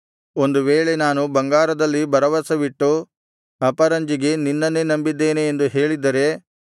ಒಂದು ವೇಳೆ ನಾನು ಬಂಗಾರದಲ್ಲಿ ಭರವಸವಿಟ್ಟು ಅಪರಂಜಿಗೆ ನಿನ್ನನ್ನೇ ನಂಬಿದ್ದೇನೆ ಎಂದು ಹೇಳಿದ್ದರೆ